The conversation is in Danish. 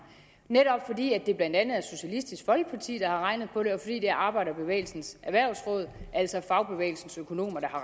netop fordi det blandt andet er socialistisk folkeparti der har regnet på det og fordi det er arbejderbevægelsens erhvervsråd altså fagbevægelsens økonomer der